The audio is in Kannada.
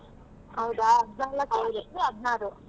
ಹೌದಾ ಹದಿನಾಲ್ಕು ಹದಿನಾರು.